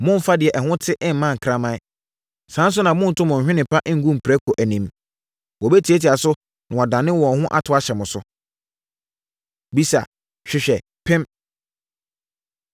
“Mommfa deɛ ɛho te mma nkraman. Saa ara nso na monnto mo nhwene pa ngu mprako anim! Wɔbɛtiatia so, na woadane wɔn ho ato ahyɛ mo so. Bisa, Hwehwɛ, Pem